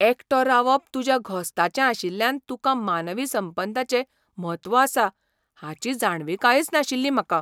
एकटो रावप तुज्या घोस्ताचें आशिल्ल्यान तुकां मानवी संबंदाचें म्हत्व आसा हाची जाणविकायच नाशिल्ली म्हाका.